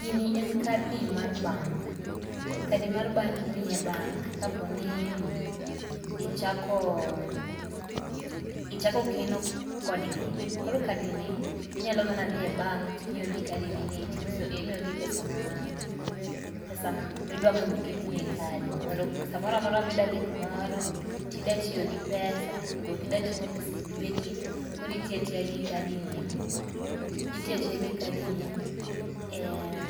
Gini en kadi mar bank, kadi mar bank imiyi e bank kapo nii ichako, ichako keno kodgi. Koro kadini inyalo mana dhie bank timiyogi kadini ni to imiyogi pesa maa pesa midwa mondo oketni e kadi. Mondo samora amora midwa dhi kumoro tidwa tiyo gi pesa to be okidwa ting'o pesa elweti koro itiyo atiya gi kadini itiyo atiya gi kadini e